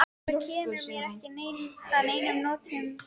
Þetta kemur mér ekki að neinum notum lengur.